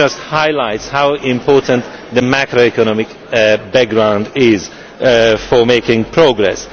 That just highlights how important the macroeconomic background is in making progress.